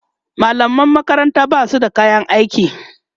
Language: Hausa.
mallaman makaranta Basu da kayan aiki